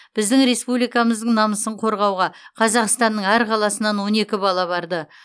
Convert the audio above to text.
біздің республикамыздың намысын қорғауға қазақстанның әр қаласынан он екі бала барды